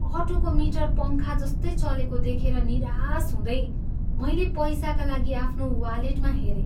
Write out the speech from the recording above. अटोको meter पङ्खाजस्तै चलेको देखेर निराश हुँदै मैले पैसाका लागि आफ्नो वालेटमा हेरेँ।